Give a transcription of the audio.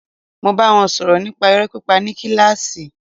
Máa bá wọn sọ̀rọ̀ nípa irọ́ pípa ní kílàsì.